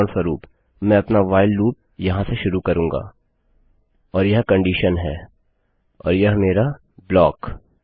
उदाहरणस्वरूप मैं अपना व्हाइल लूप यहाँ से शुरू करूँगा और यह कंडीशन है और यह मेरा ब्लॉकढाँचा